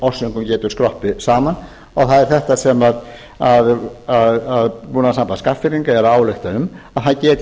orsökum skroppið saman það er þetta sem búnaðarsamband skagfirðinga er að álykta um að það geti